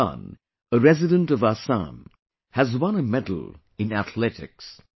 Amlan, a resident of Assam, has won a medal in Athletics